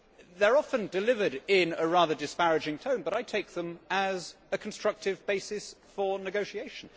They are often delivered in a rather disparaging tone, but I take them as a constructive basis for negotiation.